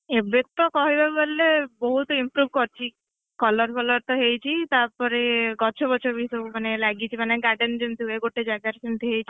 ଏବେ ତ କହିବାକୁଗଲେ ବୋହୁତ improve କରିଛି, colour ଫଲରତ ହେଇଛି ତା ପରେ ଗଛ ଫଛବି ସବୁ ଲାଗିଛି ମାନେ garden ଯେମତି ହୁଏ ଗୋଟେ ଜାଗାରେ ମାନେ ସେମତି ହେଇଛି।